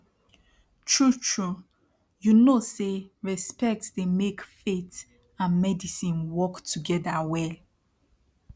trutru ypu know say respect dey make faith and medicine work togeda well